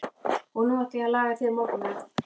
Og nú ætla ég að laga þér morgunverð.